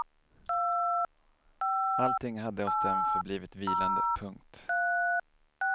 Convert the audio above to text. Allting hade hos dem förblivit vilande. punkt